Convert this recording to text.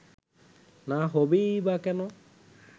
না হবেই বা কেন